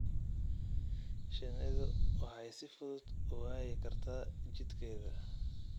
Shinnidu waxay si fudud u waayi kartaa jidkeeda.